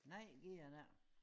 Nej gu er det ej